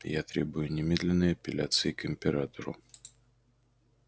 я требую немедленной апелляции к императору